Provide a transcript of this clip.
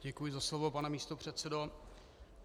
Děkuji za slovo, pane místopředsedo.